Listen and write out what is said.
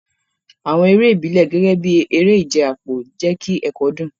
Àwọn eré ìbílẹ̀, gẹ́gẹ́ bí eré ìje àpò, jẹ́ kí ẹ̀kọ́ dùn.